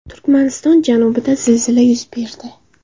Turkmaniston janubida zilzila yuz berdi.